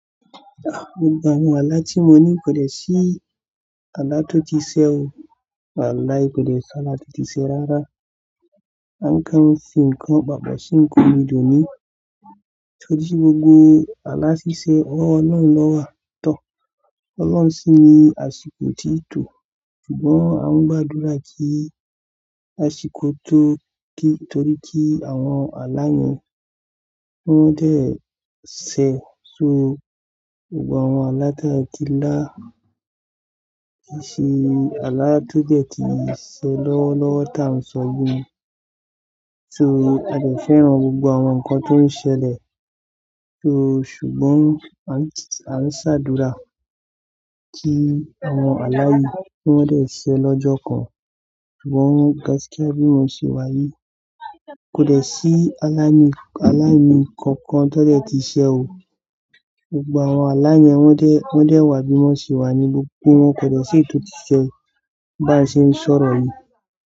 Gbogbo àwọn alá tí mo ní kòdè sí alá tó ti ṣe o. Walahi kòdè sí alá tó ti ṣe rárá. A n kan fún nǹkan papo sí nǹkan ni doni. Torí gbogbo alá ṣiṣẹ́ owo olohun lọ́wọ́ to. Ọlọ́run sì ní àsìkò o tí tó. Ṣùgbọ́n a ń gbàdúrà kí àsìkò tó kí torí kí àwọn alá yẹn wọ́n dé ẹ sẹ. So gbogbo àwọn alá tàti lá kìí ṣe alá tó dẹ̀ ti ṣe lọ́wọ́lọ́wọ́ tá a n sọ bímọ. So a dẹ̀ fẹ́ran gbogbo àwọn nǹkan tó ń ṣẹlẹ̀. So ṣùgbọ́n a ń sá dúrà kí àwọn alá kí wọ́n dé ẹ sẹ lọ́jọ́ kan. Ṣùgbọ́n gaskia bí mo ṣe wáyé, kòdè sí alá ni alá ni kankan tó dẹ̀ ti ṣe o. Gbogbo àwọn alá yẹn wọ́n dé wọ́n dé wá bí wọ́n ṣe wá ní gbogbo wọ́n kòdè sí èyi to ti ṣe bá ṣe ń sọ̀rọ̀ yìí.